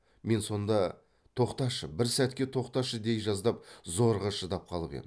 мен сонда тоқташы бір сәтке тоқташы дей жаздап зорға шыдап қалып ем